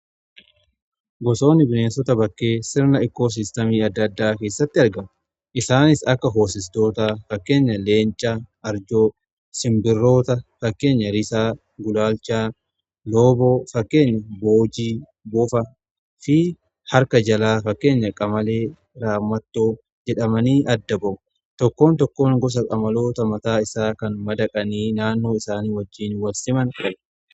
Bosoonni bineensota bakkee sirna ikkoo sistamii adda addaa keessatti arga isaanis akka hosestoota fakkeenya leencaa arjoo sinbirroota fakkeenya risaa gulaalchaa loboo fakkeenya boojii boofa fi harka jalaa fakkeenya qamalee raamatoo jedhamanii adda ba'u. Tokkoon tokkoon gosa qamaloota mataa isaa kan madaqanii naannoo isaanii wajjiin walsiman ture.